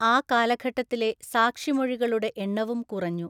ആ കാലഘട്ടത്തിലെ സാക്ഷിമൊഴികളുടെ എണ്ണവും കുറഞ്ഞു.